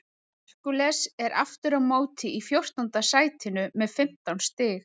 Hercules er aftur á móti í fjórtánda sætinu með fimmtán stig.